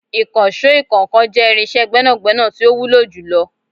Ìkànsó ìkọ́ńkan jẹ́ irinsé gbẹ́nàgbẹ́nà tí ó wúlò jù lọ